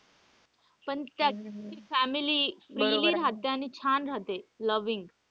पण ज्याची family freely रहाते आणि छान रहाते loving.